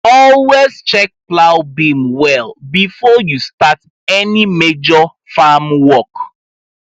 always check plow beam well before you start any major farm work